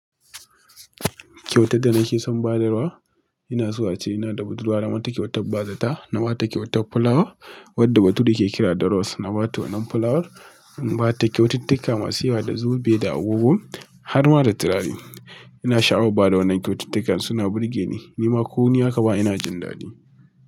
Kyautar da nake son ba yarwa ina so ace, ina da budurwa na mata kyautar bazata, na ba ta kyautar fulawa wadda bature ya ke kira da rose, na ba ta wannan fulawar, in ba ta kyaututtuka masu yawa da zobe da agogo har ma da turare. Ina sha'awar ba da wannan kyaututtukan, suna burge ni, nima ko ni aka bawa ina jin daɗi.